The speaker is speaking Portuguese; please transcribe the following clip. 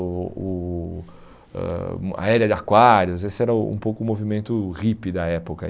O o ãh a era de aquários, esse era um pouco o movimento hippie da época.